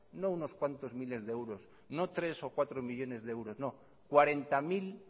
no unos cuantos miles de euros no tres o cuatro millónes de euros no cuarenta mil